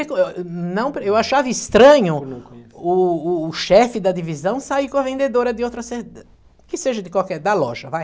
não... Eu achava estranho, por não conhecer... o o o chefe da divisão sair com a vendedora de outra... que seja de qualquer... da loja, vai.